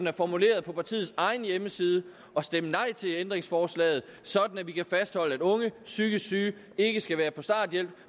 er formuleret på partiets egen hjemmeside og stemme nej til ændringsforslaget sådan at vi kan fastholde at unge psykisk syge ikke skal være på starthjælp